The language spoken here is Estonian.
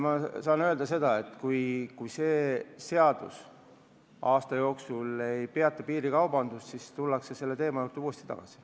Ma saan öelda seda, et kui see seadus aasta jooksul ei peata piirikaubandust, siis tullakse kindlasti selle teema juurde uuesti tagasi.